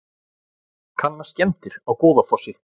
Kanna skemmdir á Goðafossi